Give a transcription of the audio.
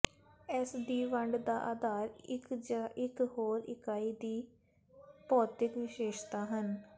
ਇਸ ਦੀ ਵੰਡ ਦਾ ਆਧਾਰ ਇੱਕ ਜ ਇਕ ਹੋਰ ਇਕਾਈ ਦੀ ਭੌਤਿਕ ਵਿਸ਼ੇਸ਼ਤਾ ਹਨ